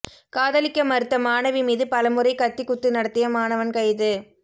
காதலிக்க மறுத்த மாணவி மீது பலமுறை கத்தி குத்து நடத்திய மாணவன் கைது